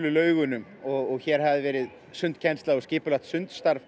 laugunum og hér hafði verið sundkennsla og skipulagt